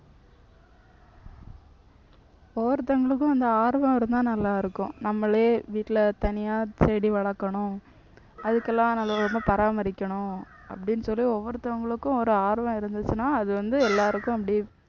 ஒவ்வொருத்தவங்களுக்கும் அந்த ஆர்வம் இருந்தா நல்லா இருக்கும். நம்மளே வீட்ல தனியா செடி வளர்க்கணும் அதுக்கெல்லாம் நல்ல விதமா பராமரிக்கணும் அப்படின்னு சொல்லி ஒவ்வொருத்தவங்களுக்கும் ஒரு ஆர்வம் இருந்துச்சுன்னா அது வந்து எல்லாருக்கும் அப்படியே